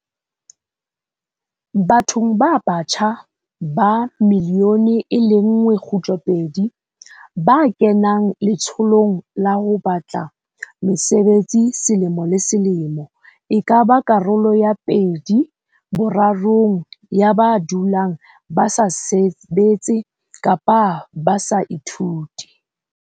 Bathong ba batjha ba 1.2 milione ba kenang letsholong la ho ba tla mesebetsi selemo le se lemo, e ka ba karolo ya pedi borarong ya ba dulang ba sa sebetse kapa ba sa ithute.